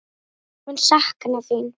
Ég mun sakna þín.